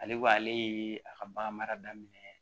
Ale ko ale ye a ka bagan mara daminɛ